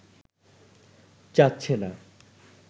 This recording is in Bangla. চাচ্ছে না